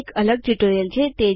તે એક અલગ ટ્યુટોરીયલ છે